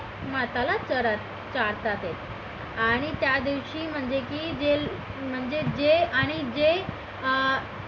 माताला चारतात ते आणि त्या दिवशी म्हणजे की जे म्हणजे जे आणि जे अं